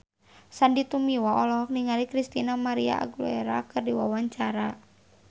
Sandy Tumiwa olohok ningali Christina María Aguilera keur diwawancara